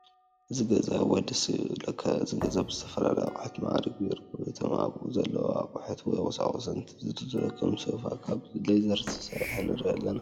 እዚ ገዛ እዋይ ደስ ክብለካ። እዚ ገዛ ብዝተፈላለዩ ኣቁሑት ማዕሪጉ ይርከብ። እቶም ኣብኡ ዘለዉ ኣቁሑት ወይ ቁሳቁስ እንትዝርዘሩ ከም ሶፋ ካብ ሌዘር ዝትሰርሓ ንርኢ ኣለና።